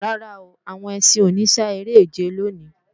Rárá, àwọn ẹṣin ò ní sá eré-ìje lòní